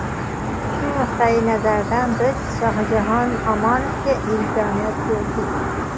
Shu nuqtayi nazardan biz Shohjahon Omonovga imkoniyat berdik.